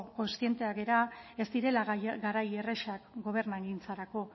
kontziente gara ez direla garai errazak gobernugintzarako